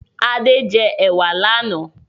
Ade jẹ ewa lànà